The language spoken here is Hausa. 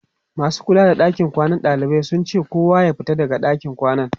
masu kula da ɗakin kwanan ɗalibai sun ce kowa ya fita daga ɗakin kwanan